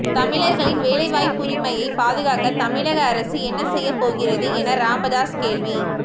தமிழர்களின் வேலைவாய்ப்புரிமையை பாதுகாக்க தமிழக அரசு என்ன செய்யப்போகிறது என ராமதாஸ் கேள்வி